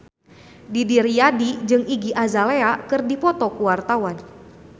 Didi Riyadi jeung Iggy Azalea keur dipoto ku wartawan